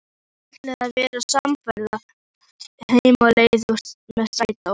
Þau ætla að verða samferða heim á leið með strætó.